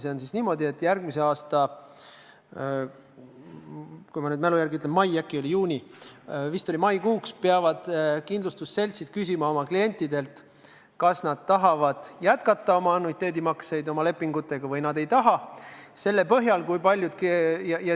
See on niimoodi, et järgmise aasta maikuuks – ma mälu järgi ütlen, äkki oli juuni, aga vist oli ikka mai – peavad kindlustusseltsid oma klientidelt küsima, kas nad tahavad oma lepinguga annuiteetmakseid jätkata või ei taha.